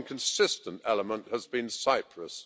One consistent element has been Cyprus.